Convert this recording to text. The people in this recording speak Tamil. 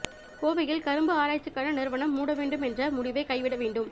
கோவையில் கரும்பு ஆராய்ச்சிக்கான நிறுவனம் மூட வேண்டும் என்ற முடிவை கைவிட வேண்டும்